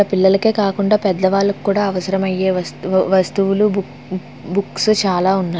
పిల్లలకే కాకుండా పెద్దవాళ్ళకు కూడా అవసరమయ్యే వస్తు వస్తువులు బు బుక్స్ చాలా ఉన్నాయి.